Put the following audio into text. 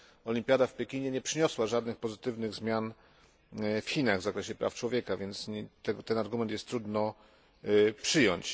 olimpiada w Pekinie nie przyniosła żadnych pozytywnych zmian w Chinach w zakresie praw człowieka, więc ten argument jest trudno przyjąć.